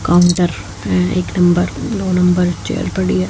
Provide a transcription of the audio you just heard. Counter पे एक number दो नंबर चेयर पड़ी है।